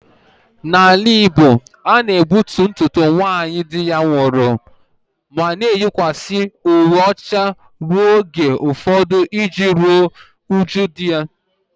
N'ala Igbo a na-egbutu ntutu nwaanyị di ya nwụrụ ma ọ na-eyikwasị uwe ọcha ruo oge ụfọdụ iji ruo uju di ya